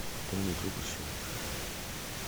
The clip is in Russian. пополнить другу счет